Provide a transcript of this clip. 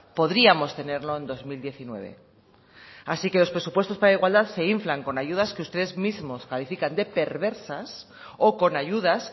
podríamos tenerlo en dos mil diecinueve así que los presupuestos para igualdad se inflan con ayudas que ustedes mismo califican de perversas o con ayudas